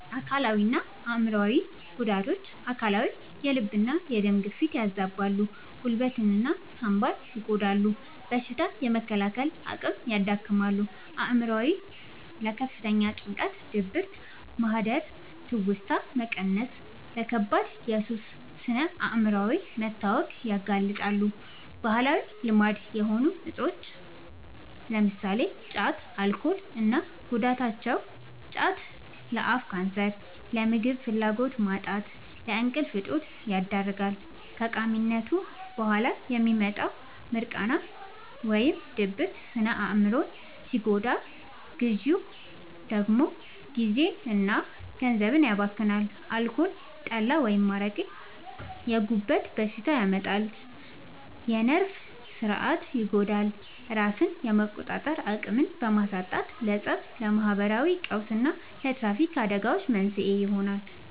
አካላዊና አእምሯዊ ጉዳቶች፦ አካላዊ፦ የልብና የደም ግፊትን ያዛባሉ፣ ጉበትና ሳንባን ይጎዳሉ፣ በሽታ የመከላከል አቅምን ያዳክማሉ። አእምሯዊ፦ ለከፍተኛ ጭንቀት፣ ድብርት፣ ማህደረ-ትውስታ መቀነስና ለከባድ የሱስ ስነ-አእምሯዊ መታወክ ያጋልጣሉ። ባህላዊ ልማድ የሆኑ እፆች (ጫትና አልኮል) እና ጉዳታቸው፦ ጫት፦ ለአፍ ካንሰር፣ ለምግብ ፍላጎት ማጣትና ለእንቅልፍ እጦት ይዳርጋል። ከቃሚነቱ በኋላ የሚመጣው «ሚርቃና» (ድብርት) ስነ-አእምሮን ሲጎዳ፣ ግዢው ደግሞ ጊዜና ገንዘብን ያባክናል። አልኮል (ጠላ፣ አረቄ)፦ የጉበት በሽታ ያመጣል፣ የነርቭ ሥርዓትን ይጎዳል፤ ራስን የመቆጣጠር አቅምን በማሳጣትም ለፀብ፣ ለማህበራዊ ቀውስና ለትራፊክ አደጋዎች መንስኤ ይሆናል።